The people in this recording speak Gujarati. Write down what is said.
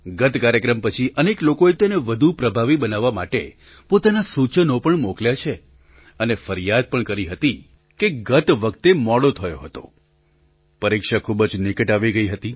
ગત કાર્યક્રમ પછી અનેક લોકોએ તેને વધુ પ્રભાવી બનાવવા માટે પોતાનાં સૂચનો પણ મોકલ્યાં છે અને ફરિયાદ પણ કરી હતી કે ગત વખતે મોડો થયો હતો પરીક્ષા ખૂબ જ નિકટ આવી ગઈ હતી